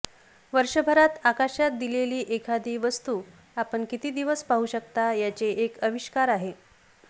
वर्षभरात आकाशात दिलेली एखादी वस्तू आपण किती दिवस पाहू शकता याचे एक अविष्कार आहे